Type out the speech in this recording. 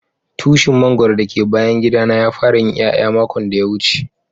tushin mangoro da le bayan gida na ya fara yin iyaya makon daya wuce.